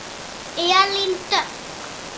Elín Dögg.